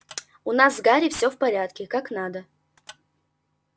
у нас с гарри все в порядке как надо